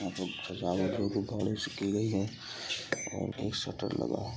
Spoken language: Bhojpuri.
राऊत लोग को पोलिश की गई है और एक शटर लगा है।